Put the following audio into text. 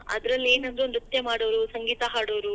ಅದ್ರಲ್ಲೇನಂದ್ರ ನೃತ್ಯ ಮಾಡೋರು, ಸಂಗೀತಾ ಹಾಡೋರು.